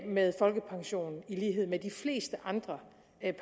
med folkepension i lighed med de fleste andre